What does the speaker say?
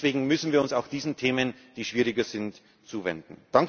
Deswegen müssen wir uns auch diesen Themen, die schwieriger sind, zuwenden.